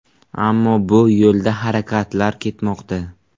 Ammo bu yo‘lda harakatlar ketmoqda.